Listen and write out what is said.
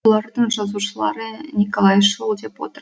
бұлардың жазушылары николайшыл деп отыр